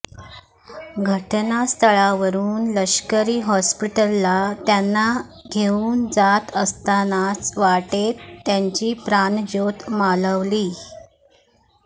घटनास्थळावरून लष्करी हॉस्पिटलला त्यांना घेऊन जात असतानाच वाटेत त्यांची प्राणज्योत मालवली